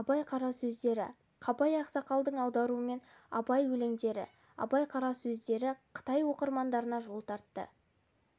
абай қара сөздері қабай ақсақалдың аударуымен абай өлеңдері абай қара сөздері қытай оқырмандарына жол тартты